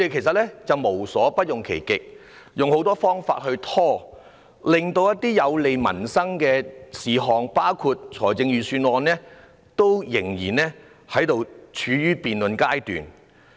他們無所不用其極，用很多方法拖延，令一些有利民生的事項——包括預算案——現時仍然處於辯論階段。